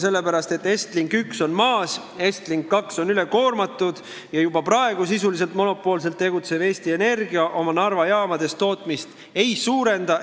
Sellepärast, et Estlink 1 on maas, Estlink 2 on ülekoormatud ja juba praegu sisuliselt monopoolselt tegutsev Eesti Energia oma Narva jaamades tootmist ei suurenda.